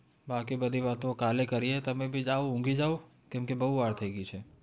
બાકી બધી વાત કાલે કરીયે તમે જાઓ ઊંઘી જાઓ કેમકે બહુ વાર થઇ ગઈ છે